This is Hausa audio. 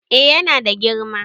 eh yana da girma